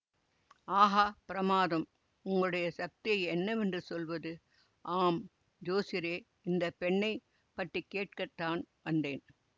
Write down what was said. ஆஹா பிரமாதம் உங்களுடைய சக்தியை என்னவென்று சொல்வது ஆம் ஜோசியரே இந்த பெண்ணை பற்றி கேட்க தான் வந்தேன்